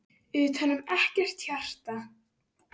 Utanum ekkert hjarta.